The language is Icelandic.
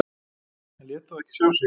En lét þó ekki sjá sig.